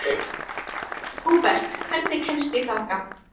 Húbert, hvernig kemst ég þangað?